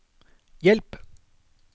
hjelp